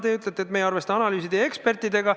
Te ütlete, et me ei arvesta analüüside ja ekspertidega.